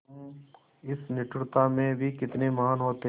तुम इस निष्ठुरता में भी कितने महान् होते